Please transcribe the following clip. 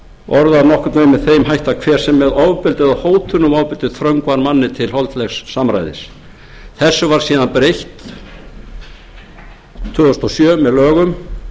þeim hætti að hver sem með ofbeldi eða hótun um ofbeldi þröngvar manni til holdlegs samræðis þessu var síðan breytt tvö þúsund og sjö með lögum